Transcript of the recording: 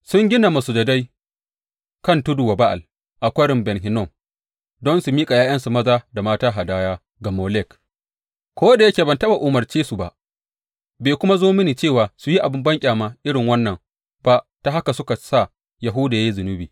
Sun gina masujadai kan tudu wa Ba’al a Kwarin Ben Hinnom don su miƙa ’ya’yansu maza da mata hadaya ga Molek, ko da yake ban taɓa umarce su ba, bai kuma zo mini cewa su yi abin banƙyama irin wannan ba ta haka suka sa Yahuda ya yi zunubi.